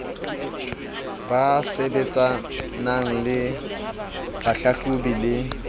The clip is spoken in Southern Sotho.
ba sebetsanang le bohlahlobi le